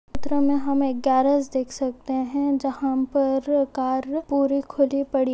चित्रों में हम एक गैरेज देख सकते है जहाँ पर कार पूरी खुली पड़ी --